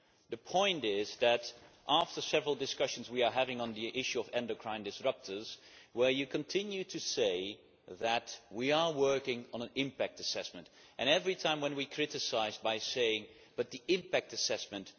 The point is that, after several discussions we are having on the issue of endocrine disruptors, Commissioner, you continue to say We are working on an impact assessment' and every time when we criticise, you say But the impact assessment'.